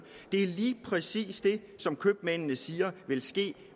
det er lige præcis det som købmændene siger